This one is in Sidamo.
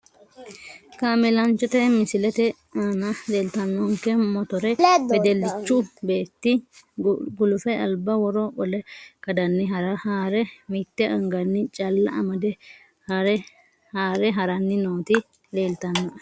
Kaamelanchote misilete aana leeltanonke motore wedelichu beeti guluffe alba woro qole kadani haare mitte angani calla amade haare harani nooti leeltanoe.